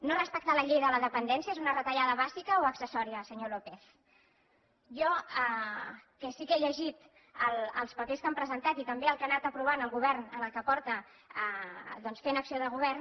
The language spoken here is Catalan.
no respectar la llei de la dependència és una retallada bàsica o accessòria senyor lópez jo que sí que he llegit els papers que han presentat i també el que ha anat aprovant el govern en el que porta fent acció de govern